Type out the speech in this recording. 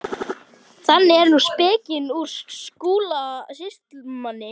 Þannig er nú spekin úr Skúla sýslumanni.